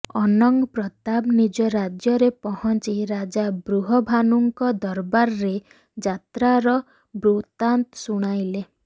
ଅନଙ୍ଗ ପ୍ରତାପ ନିଜ ରାଜ୍ୟରେ ପହଞ୍ଚି ରାଜା ବୃହଭାନୁଙ୍କ ଦରବାରରେ ଯାତ୍ରାର ବୃତାନ୍ତ ଶୁଣାଇଲେ